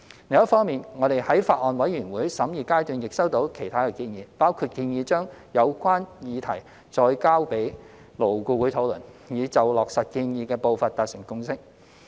另一方面，我們在法案委員會審議階段亦收到其他建議，包括建議將有關議題再交予勞工顧問委員會討論，以就落實建議的步伐達成共識。